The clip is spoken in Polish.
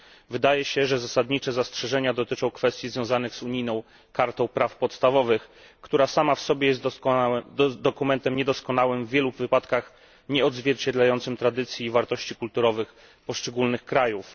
Wydaje się, że zasadnicze zastrzeżenia dotyczą kwestii związanych z unijną kartą praw podstawowych, która sama w sobie jest dokumentem niedoskonałym, w wielu wypadkach nieodzwierciedlającym tradycji i wartości kulturowych poszczególnych krajów.